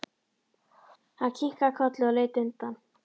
Hann kinkaði kolli og leit undan.